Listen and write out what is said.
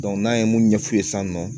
n'an ye mun ɲɛf'u ye sisan